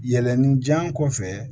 Yɛlɛnni ja kɔfɛ